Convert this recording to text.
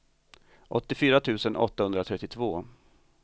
åttiofyra tusen åttahundratrettiotvå